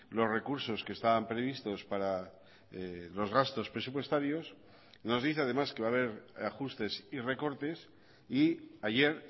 los recursos que estaban previstos para los gastos presupuestarios nos dice además que va a ver ajustes y recortes y ayer